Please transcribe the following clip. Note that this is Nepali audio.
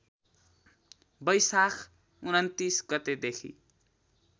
बैशाख २९ गतेदेखि